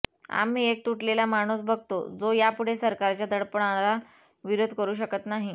आम्ही एक तुटलेला माणूस बघतो जो यापुढे सरकारच्या दडपणाला विरोध करू शकत नाही